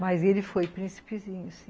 Mas ele foi príncipezinho, sim.